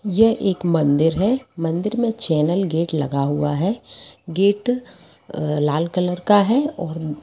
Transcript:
ये एक मंदिर है मंदिर में चैनल गेट लगा हुआ है गेट अ- लाल कलर का है। और--